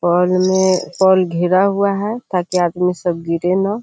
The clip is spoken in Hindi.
पोल में पोल घेरा हुआ है ताकि आदमी सब गिरे ना।